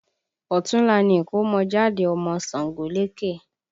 Ọ̀túnla ni ìkọ́mọjáde ọmọ Ṣàngólékè